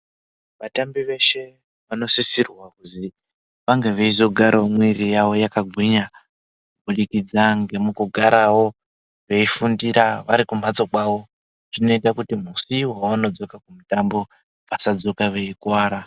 Vatambi veshe vanosisirwa kuzi vange veizogarawo mwiri yawo yakagwinya kubudikidza ngemukugarawo veifundira vari kumbatso kwawo. Zvinoita kuti musi wawanodzoka kumutambo vasadzoka veikuwara.